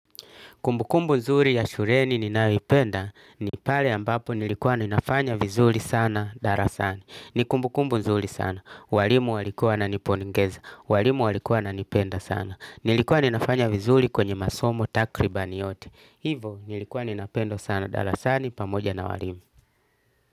Kumbukumbu nzuri ya shuleni ninayoipenda ni pale ambapo nilikuwa ninafanya vizuri sana, darasani. Ni kumbukumbu nzuri sana. Walimu walikuwa wana nipongeza. Walimu walikuwa na nipenda sana. Nilikuwa ninafanya vizuri kwenye masomo takribani yote. Hivo nilikuwa ninapenda sana, darasani, pamoja na walimu.